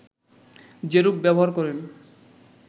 যেরূপ ব্যবহার করেন